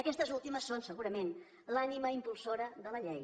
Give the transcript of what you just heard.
aquestes últimes són segurament l’ànima impulsora de la llei